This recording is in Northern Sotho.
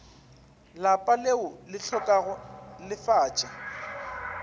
lapa leo le hlokago lefatša